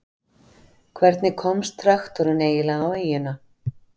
Hvernig komst traktorinn eiginlega á eyjuna?